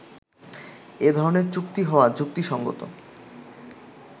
এ ধরনের চুক্তি হওয়া যুক্তিসঙ্গত